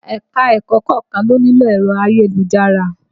Ẹ̀ka-ẹ̀kọ́ kọ̀ọ́kan ló nílò ẹ̀rọ ayélujára